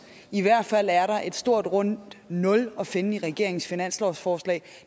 i hvert fald er der et stort rundt nul at finde i regeringens finanslovsforslag